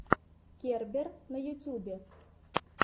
кербер на ютюбе